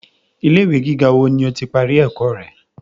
Ilé ìwé gíga wo ni o ti parí ẹ̀kọ́ rẹ?